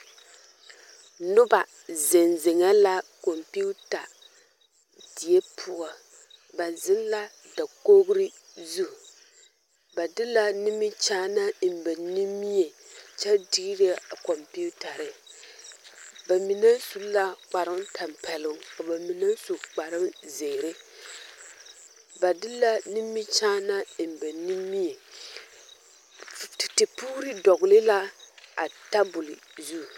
Noba zeŋ zeŋɛɛ la kɔmpiita die poɔ ba zeŋ la dakoɡri zu ba de la nimikyaanaa eŋ ba nimie kyɛ diire a kɔmpiitare ba mine su la kparoŋtampɛloŋ ka ba mine su kparoŋziiri ba de la nimikyaanaa eŋ ba nimie tetepoore dɔɡele la a tabol zu.